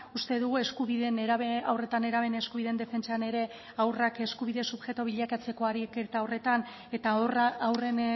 uste dugu eskubideen haur eta nerabeen eskubideen defentsan ere haurrak eskubide subjektu bilakatzeko ariketa horretan eta haurren